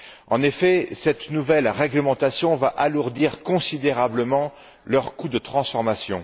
En effet, cette nouvelle réglementation va alourdir considérablement leur coût de transformation.